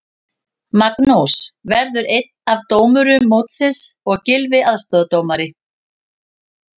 Magnús verður einn af dómurum mótsins og Gylfi aðstoðardómari.